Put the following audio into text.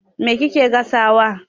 Me kike gasawa?